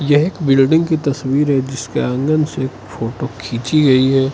ये एक बिल्डिंग की तस्वीर है जिसके आँगन से फोटो खींची गई है।